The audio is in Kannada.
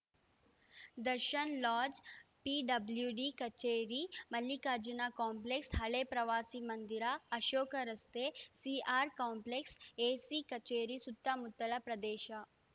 ದರ್ಶನ್‌ ಲಾಡ್ಜ‌ ಪಿಡಬ್ಲ್ಯೂಡಿ ಕಚೇರಿ ಮಲ್ಲಿಕಾರ್ಜುನ ಕಾಂಪ್ಲೆಕ್ಸ್ ಹಳೇ ಪ್ರವಾಸಿ ಮಂದಿರ ಅಶೋಕ ರಸ್ತೆ ಸಿಆರ್‌ ಕಾಂಪ್ಲೆಕ್ಸ್‌ ಎಸಿ ಕಚೇರಿ ಸುತ್ತಮುತ್ತಲ ಪ್ರದೇಶ